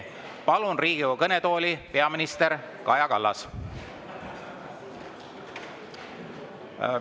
Palun Riigikogu kõnetooli peaminister Kaja Kallase.